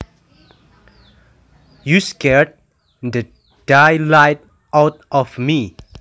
You scared the daylights out of me